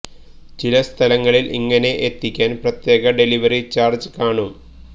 ചില സ്ഥലങ്ങളിൽ ഇങ്ങനെ എത്തിക്കാൻ പ്രത്യേക ഡെലിവറി ചാർജ് കാണും